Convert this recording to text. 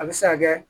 A bɛ se ka kɛ